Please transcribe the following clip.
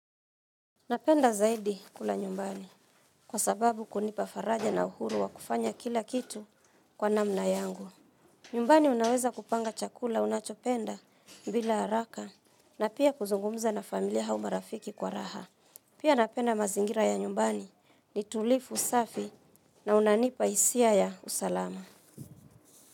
Napenda zaidi kula nyumbani kwa sababu kunipa faraja na uhuru wa kufanya kila kitu kwa namna yangu. Nyumbani unaweza kupanga chakula unachopenda bila haraka na pia kuzungumza na familia au marafiki kwa raha. Pia napenda mazingira ya nyumbani ni tulivu safi na unanipa hisia ya usalama.